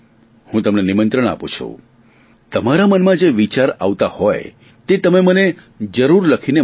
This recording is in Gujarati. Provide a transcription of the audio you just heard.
હું તમને નિમંત્રણ આપું છું તમારા મનમાં જે વિચાર આવતા હોય તે તમે મને જરૂર લખીને મોકલો